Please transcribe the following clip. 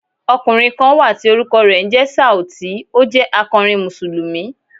Ọkùnrin kan wà tí orúkọ rẹ̀ ń jẹ́ Sauti, ó jẹ́ akọrin Mùsùlùmí.